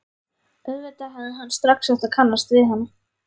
Auðvitað hefði hann strax átt að kannast við hana.